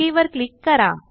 okay वर click करा